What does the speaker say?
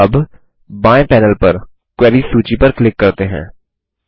अबबाएँ panel पर queries सूची पर क्लिक करते हैं